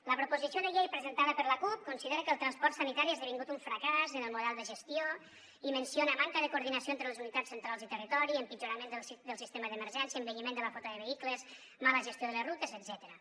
la proposició de llei presentada per la cup considera que el transport sanitari ha esdevingut un fracàs en el model de gestió i menciona manca de coordinació entre les unitats centrals i territori empitjorament del sistema d’emergència envelliment de la flota de vehicles mala gestió de les rutes etcètera